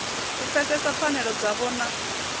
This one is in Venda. u pfesesa pfanelo dzavho na